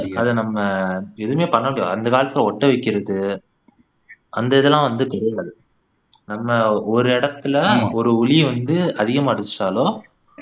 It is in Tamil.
அதை நம்ம எதுவுமே பண்ண முடியாது அந்த காலத்துல ஒட்ட வைக்கிறது அந்த இதெல்லாம் வந்து கிடையாது நம்ம ஒரு இடத்துல ஒரு உளி வந்து அதிகமா அடிச்சிட்டாலோ